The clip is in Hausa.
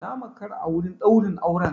Na makara a wurin ɗaurin auren.